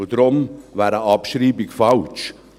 Deshalb wäre eine Abschreibung falsch.